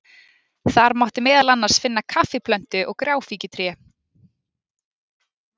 Þar mátti meðal annars finna kaffiplöntu og gráfíkjutré.